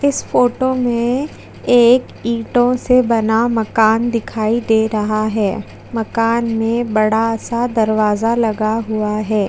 इस फोटो मे एक इटो से बना मकान दिखाई दे रहा है मकान मे बडा सा दरवाजा लगा हुआ है।